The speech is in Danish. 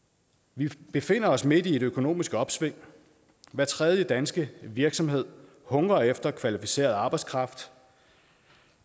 vi befinder os midt i et økonomisk opsving hver tredje danske virksomhed hungrer efter kvalificeret arbejdskraft